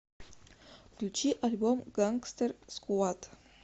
включи альбом гангстер сквад